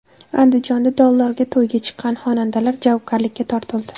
Andijonda dollarga to‘yga chiqqan xonandalar javobgarlikka tortildi.